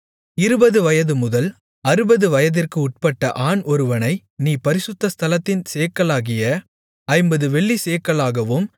இருபது வயதுமுதல் அறுபது வயதிற்கு உட்பட்ட ஆண் ஒருவனை நீ பரிசுத்த ஸ்தலத்தின் சேக்கலாகிய ஐம்பது வெள்ளிச்சேக்கலாகவும்